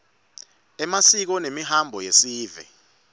emasiko nemihambo yesive